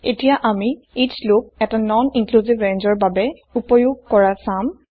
এতিয়া আমি each loop এটা নন ইন্ক্লিউচিভ ৰেঞ্জৰ বাবে উপয়োগ কৰা চাম